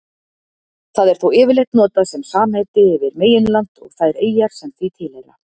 Það er þó yfirleitt notað sem samheiti yfir meginland og þær eyjar sem því tilheyra.